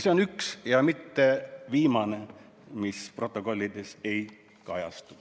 See on üks ja mitte viimane asi, mis protokollis ei kajastu.